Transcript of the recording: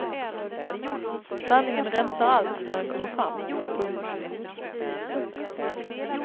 Sanningen rensar allt när den kommer fram. punkt